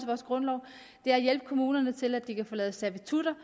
vores grundlov er at hjælpe kommunerne til at de kan få lavet servitutter